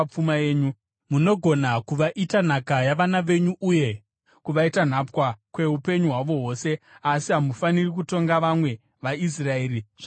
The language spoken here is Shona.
Munogona kuvaita nhaka yavana venyu uye kuvaita nhapwa kweupenyu hwavo hwose, asi hamufaniri kutonga vamwe vaIsraeri zvakaomarara.